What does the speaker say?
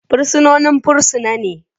Fursunonin fursuna ne.